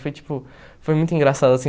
Foi, tipo, foi muito engraçado, assim.